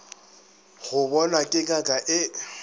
go bonwa ke ngaka e